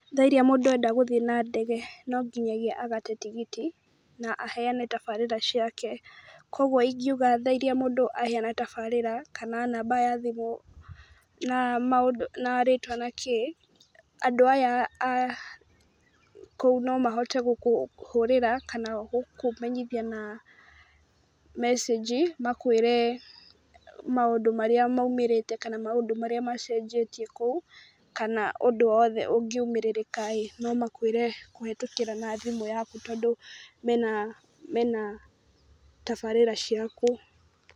Tha iria múũdũ angĩenda gũthiĩ na ndege no nginyagi mũndũ agate tigiti na aheana tabarĩra ciake. Kwoguo ingiuga tha iria mũndũ aheana tabarĩra, kana namba ya thimũ, na maũndũ, na rĩtwa na kĩĩ, andũ aya a kũu no mahote gũkũhũrĩra kana gũkũmenyitha na message. Makũĩre maũndũ marĩa maumĩrĩte kana maũndũ marĩa macenjetie kũũ, kana ũndũ wothe ũngiumĩrĩrĩka ĩ, no makwĩre kũhĩtũkĩra na thimũ yaku tondũ mena mena tabarĩra ciaku.